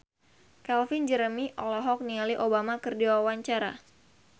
Calvin Jeremy olohok ningali Obama keur diwawancara